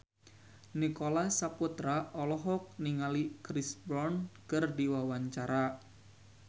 Nicholas Saputra olohok ningali Chris Brown keur diwawancara